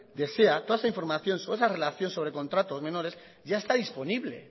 desea toda esa información sobre esa relación de contratos menores ya está disponible